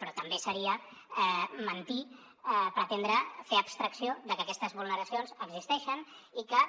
però també seria mentir pretendre fer abstracció de que aquestes vulneracions existeixen i que